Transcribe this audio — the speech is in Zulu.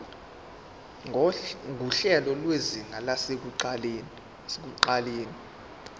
nguhlelo lwezinga lasekuqaleni